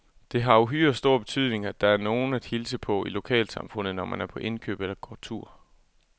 Det har uhyre stor betydning, at der er nogen at hilse på i lokalsamfundet, når man er på indkøb eller går tur.